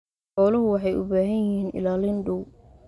Xooluhu waxay u baahan yihiin ilaalin dhow.